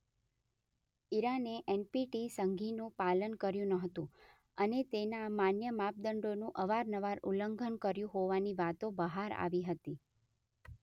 ઇરાને NPT સંધિનું પાલન કર્યું નહોતું અને તેના માન્ય માપદંડોનું અવારનવાર ઉલ્લંઘન કર્યું હોવાની વાતો બહાર આવી હતી.